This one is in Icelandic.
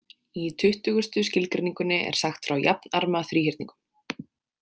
Í tuttugasta skilgreiningunni er sagt frá jafnarma þríhyrningum.